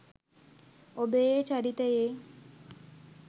ඔබ ඒ චරිතයේ